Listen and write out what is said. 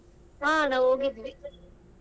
ಹಾ ಅಣ್ಣ ಹೋಗಿದ್ವಿ.